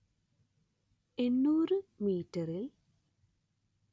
എന്‍നൂര്‍ മീറ്ററിൽ